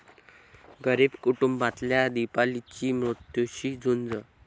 गरीब कुटुंबातल्या दीपालीची मृत्यूशी झुंज